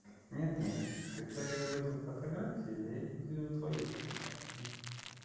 нет-нет когда я говорил фотографию я имел в виду твою фотографию